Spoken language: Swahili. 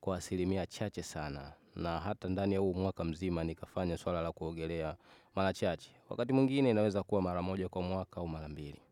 kwa asilimia chache sana, na hata ndani ya huu mwaka mzima nikafanya swala la kuogelea mara chache, wakati mwingine inaweza kuwa mara moja kwa mwaka au mara mbili.